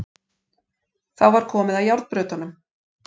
Þá var komið að járnbrautunum.